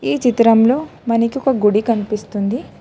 ఈ చిత్రంలో మనికి ఒక గుడి కనిపిస్తుంది.